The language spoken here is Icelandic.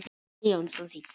Helgi Jónsson þýddi.